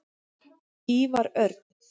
Ívar Örn.